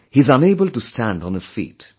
He is unable to stand on his feet